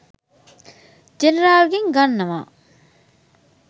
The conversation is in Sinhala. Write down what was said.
ජෙනරාල්ගෙන් ගන්නවා.